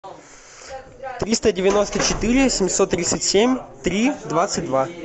триста девяносто четыре семьсот тридцать семь три двадцать два